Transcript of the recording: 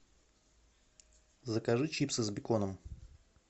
закажи чипсы с беконом